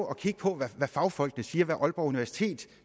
at kigge på hvad fagfolkene siger hvad aalborg universitet